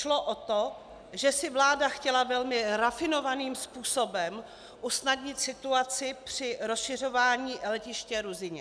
Šlo o to, že si vláda chtěla velmi rafinovaným způsobem usnadnit situaci při rozšiřování letiště Ruzyně.